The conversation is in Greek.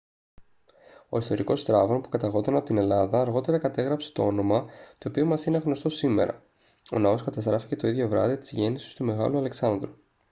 ο ιστορικός στράβων που καταγόταν από την ελλάδα αργότερα κατέγραψε το όνομα το οποίο μας είναι γνωστό σήμερα ο ναός καταστράφηκε το ίδιο βράδυ της γέννησης του μεγάλου αλεξάνδρου